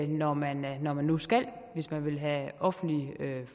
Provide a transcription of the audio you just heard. når man når man nu skal hvis man vil have offentlig